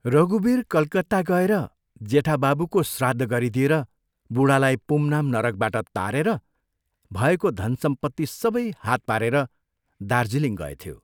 रघुबीर कलकत्ता गएर जेठा बाबुको श्राद्ध गरिदिएर बूढालाई पुंनाम नरकबाट तारेर भएको धन सम्पत्ति सबै हात पारेर दार्जिलिङ गएथ्यो।